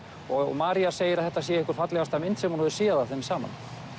og María segir að þetta sé einhver fallegasta mynd sem hún hefur séð af þeim saman